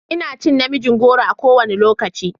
Ina cin na miin goro a kowane lokaci.